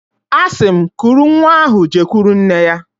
Asim, kuru nwa ahu jekuru nne-ya.